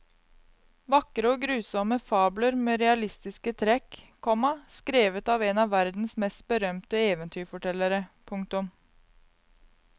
Vakre og grusomme fabler med realistiske trekk, komma skrevet av en av verdens mest berømte eventyrfortellere. punktum